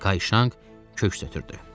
Kayşang köks ötdürdü.